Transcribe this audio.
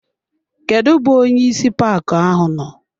Kedụ bụ onyeisi paaki ahụ nọ?